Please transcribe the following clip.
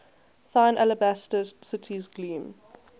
thine alabaster cities gleam